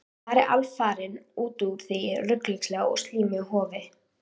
Farið alfarinn út úr því ruglingslega og slímuga hofi.